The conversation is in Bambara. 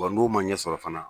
Wa n'a ma ɲɛ sɔrɔ fana